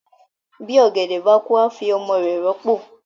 bi ògèdè bá kú a fí ọmọ rẹ ròpo.